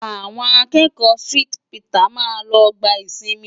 Àwọn akẹ́kọ̀ọ́ St. Peters máa tó gba ìsinmi.